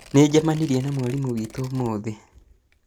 Nĩnjamanirie na mwarimu witũ ũmũthĩ